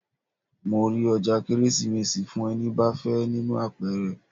Mo rí ọjà Kérésìmesì fún ẹni bá fẹ́ nínú àpẹrẹ.